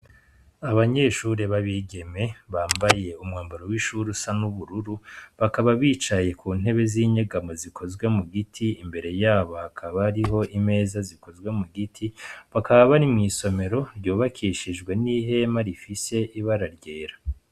Abanyeshure b’abigeme bambaye umwambaro w’ishure usa n’ubururu, bakaba bicaye ku ntebe z’inyegamo zikozwe mu giti, imbere yabo hakaba hari imeza zikozwe mu giti, bakaba bari mw’isomero ryubakishijwe n’ihema rifise ibara ryera.